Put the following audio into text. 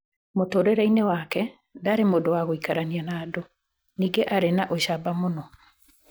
Mũtũũrĩre-inĩ wake, ndaarĩ mũndũ wa gũikarania na andũ, ningĩ aarĩ na ũcamba mũno.